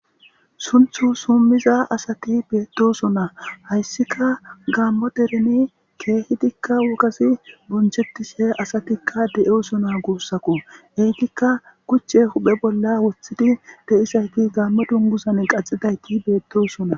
Sunthu summiza asati beettosona hayssika gaammo dereni keehidikka wogasi bonchettishe asatikka de,eosona guussako eytikka kuchche huphe bolla woththidi de,isayti gaamme dungusan qaxidayti beettosona.